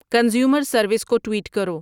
consumer service کو tweet کرو